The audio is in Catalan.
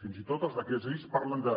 fins i tot els decrets lleis parlen de